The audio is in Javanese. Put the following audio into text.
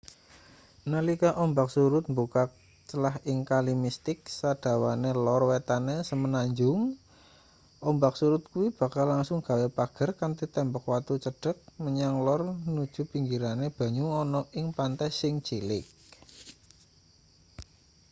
nalika ombak surut mbukak clah ing kali mistik sadawane lor wetane semenanjung ombak surut kuwi bakal langsung gawe pager kanthi tembok watu cendhek menyang lor nuju pinggirane banyu ana ing pantai sing cilik